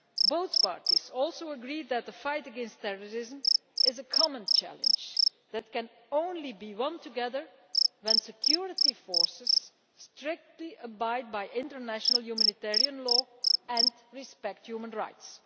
Both parties also agreed that the fight against terrorism is a common challenge that can only be surmounted together when security forces abide strictly by international humanitarian law and respect human rights.